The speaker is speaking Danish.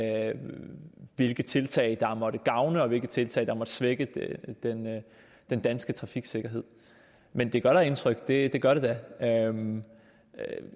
af dem hvilke tiltag der måtte gavne og hvilke tiltag der måtte svække den danske trafiksikkerhed men det gør da indtryk det gør det da